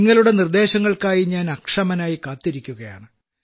നിങ്ങളുടെ നിർദ്ദേശങ്ങൾക്കായി ഞാൻ അക്ഷമനായി കാത്തിരിക്കുകയാണ്